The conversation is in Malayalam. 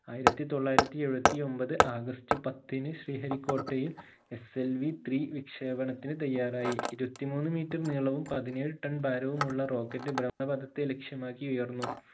ആയിരത്തി തൊള്ളായിരത്തി എഴുപത്തി ഒമ്പത് ഓഗസ്റ്റ് പത്തിന് ശ്രീഹരി കോട്ടയിൽ SLV3 വിക്ഷേപണത്തിന് തയ്യാറായി ഇരുപത്തി മൂന്ന് metre നീളവും പതിനേഴ് ton ഭാരവുമുള്ള rocket ബ്രഹ്മണപദത്തെ ലക്ഷ്യമാക്കി ഉയർന്നു